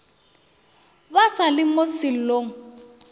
ba sa le mo sellong